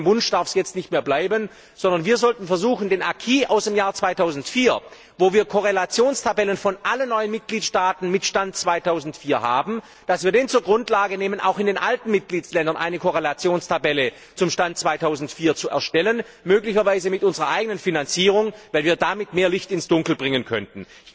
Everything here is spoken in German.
Ich glaube, beim Wunsch darf es jetzt nicht mehr bleiben, sondern wir sollten versuchen, den Acquis aus dem Jahre 2004, wo wir Korrelationstabellen von allen neuen Mitgliedstaaten mit Stand 2004 haben, zur Grundlage zu nehmen, um auch in den alten Mitgliedstaaten eine Korrelationstabelle zum Stand 2004 zu erstellen möglicherweise mit unserer eigenen Finanzierung, weil wir damit mehr Licht ins Dunkel bringen könnten.